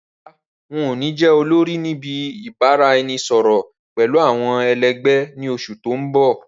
Rárá o, ǹ ó ní jẹ́ olórí níbi ìbáraẹnisọọ̀rọ̀ pẹ̀lú àwọn ẹ lẹgbẹ̀ ni oṣù tòun bọ̀.